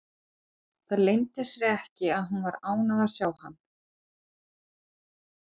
Það leyndi sér ekki að hún var ánægð að sjá hann.